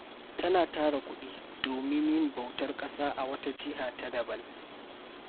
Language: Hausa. Tana tara kuɗi domin yin bautar ƙasa a wata jiha daban.